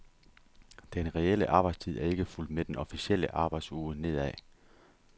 Den reelle arbejdstid er ikke fulgt med den officielle arbejdsuge nedad.